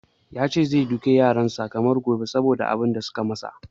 Ya ce gobe zai doki yaran sa kamar ba gobe saboda abun da suka ya masa.